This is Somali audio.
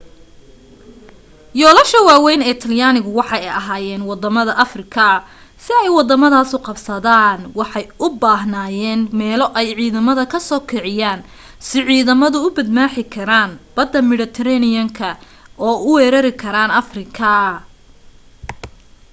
yoolasha waawayn ee talyaanigu waxay ahaayeen waddamada afrika si ay waddamadaas u qabsadaan waxay u baahanayeen meelo ay ciidamada ka soo kiciyaan si ciidamadu u badmaaxi karaan badda midhatareeniyanka oo u weerari karaan afrika